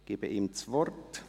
– Ich gebe ihm das Wort.